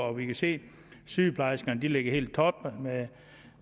og vi kan se at sygeplejerskerne ligger helt i top